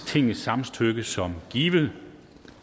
tingets samtykke som givet